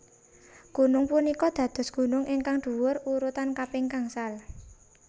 Gunung punika dados gunung ingkang dhuwur urutan kaping gangsal